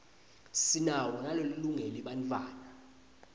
sinawo nalolungele bantfwatta